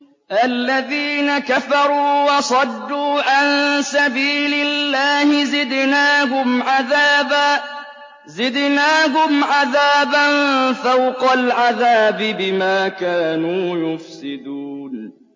الَّذِينَ كَفَرُوا وَصَدُّوا عَن سَبِيلِ اللَّهِ زِدْنَاهُمْ عَذَابًا فَوْقَ الْعَذَابِ بِمَا كَانُوا يُفْسِدُونَ